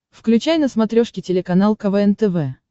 включай на смотрешке телеканал квн тв